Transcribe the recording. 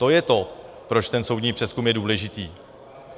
To je to, proč ten soudní přezkum je důležitý.